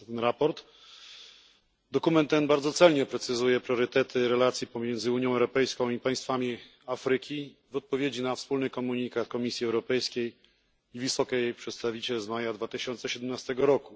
Jego dokument bardzo celnie precyzuje priorytety relacji pomiędzy Unią Europejską i państwami Afryki w odpowiedzi na wspólny komunikat Komisji i Wysokiej Przedstawiciel z maja 2017 r.